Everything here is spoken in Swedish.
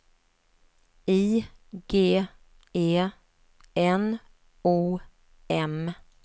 I G E N O M